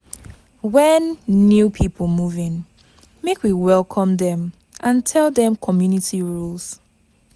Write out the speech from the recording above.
When new people move in, make we welcome dem and tell dem community rules.